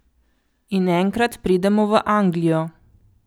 In enkrat pridemo v Anglijo.